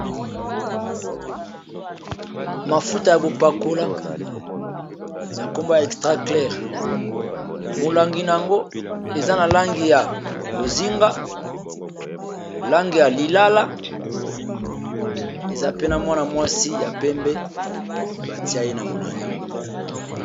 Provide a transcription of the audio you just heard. Mafuta ya kopakola kombo na yango extra claire molangi eza ya bozenga na lilala batye foto naye na molangi.